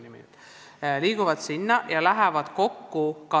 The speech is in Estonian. Nad liiguvad sinna ja hakkavad sedasama nõustamist tegema.